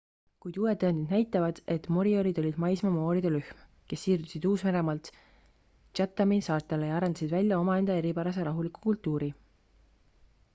kuid uued tõendid näitavad et moriorid olid maismaa maooride rühm kes siirdusid uus-meremaalt chathami saartele ja arendasid välja omaenda eripärase rahuliku kultuuri